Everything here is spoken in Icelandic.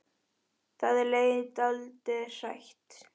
Það er um leið dálítið hrætt.